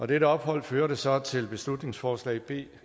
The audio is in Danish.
dette ophold førte så til beslutningsforslag b